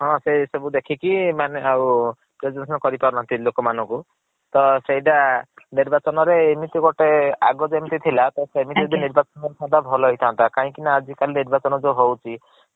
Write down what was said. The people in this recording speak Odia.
ହଁ ସେଇ ସବୁ ଦେଖିକି ମାନେ ଆଉ କରି ପାରୁନାହାନ୍ତି ଲୋକ ମାନଙ୍କୁ। ତ ସେଇଟା ନିର୍ବାଚନ ରେ ଏମିତି ଗୋଟେ ଅଗରୁ ଯେମିତି ଥିଲା ତ ସେମିତି ଆଜ୍ଞା। ଏବେ ନିର୍ବଚାନ୍ ହେବା ଭଲ ହେଇଥାନ୍ତ କାହିଁ କି ନା ଆଜି କାଲି ନିର୍ବଚାନ୍ ଯୋଉ ହଉଛି